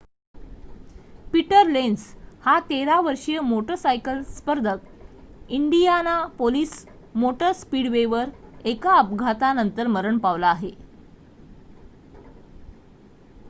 Peter Lenz हा 13-वर्षीय motorcycle स्पर्धक इंडियानापोलिस मोटर स्पीडवेवर एका अपघातानंतर मरण पावला आहे